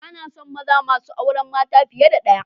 Bana son maza masu auren mata fiye da ɗaya